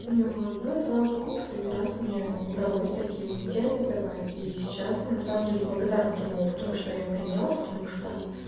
вот ну и слава богу последний раз мне удалось такие уйти от этого и сейчас а на самом деле благодарна тому опыту что я поела потому что